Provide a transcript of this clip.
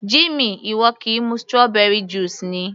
Jimmy, ìwọ kì í mu strawberry juice ni?